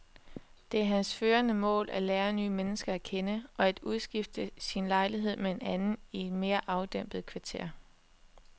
Det er hans førende mål at lære nye mennesker at kende og at udskifte sin lejlighed med en anden i et mere afdæmpet kvarter.